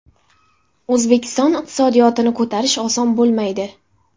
O‘zbekiston iqtisodiyotini ko‘tarish oson bo‘lmaydi.